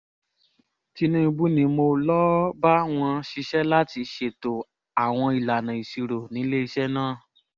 tinúbú ni mo lọ́ọ́ bá wọn ṣiṣẹ́ láti ṣètò àwọn ìlànà ìṣirò níléeṣẹ́ náà